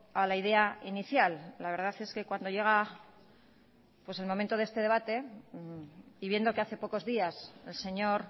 a la idea inicial la verdad es que cuando llega el momento de este debate y viendo que hace pocos días el señor